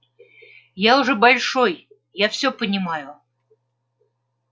я уже большой я всё понимаю